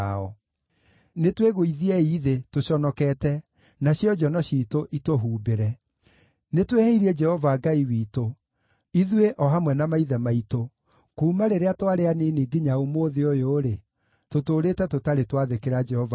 Nĩtwĩgũithiei thĩ tũconokete, nacio njono ciitũ itũhumbĩre. Nĩ twĩhĩirie Jehova Ngai witũ, ithuĩ o hamwe na maithe maitũ; kuuma rĩrĩa twarĩ anini nginya ũmũthĩ ũyũ-rĩ, tũtũũrĩte tũtarĩ twathĩkĩra Jehova Ngai witũ.”